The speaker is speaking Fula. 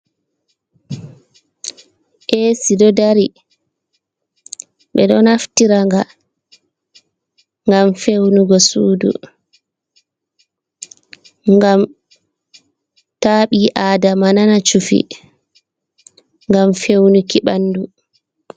Eesi ɗo dari, ɓe ɗo naftira nga ngam fewnugo sudu, ngam ta ɓi adama nana cuffi ngam fewnuki bandu.